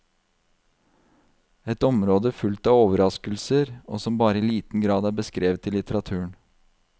Et område fullt av overraskelser, og som bare i liten grad er beskrevet i litteraturen.